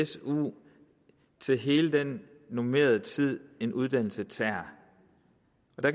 su i hele den normerede tid en uddannelse tager